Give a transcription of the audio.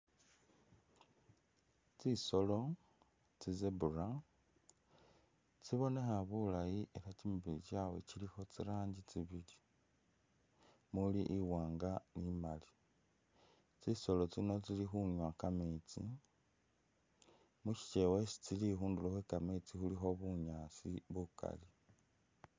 Tsisolo tsi zebra tsibonekha bulaayi ela kyimibili kyawe kyilikho tsi ranji tsibili mumuli iwaanga ni imaali , tsisolo tsino tsili khunywa kameetsi mushikyewa isi tsili khundulo khwe kameetsi khulikho bunyaasi bukali .